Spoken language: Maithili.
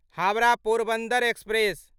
हावड़ा पोरबन्दर एक्सप्रेस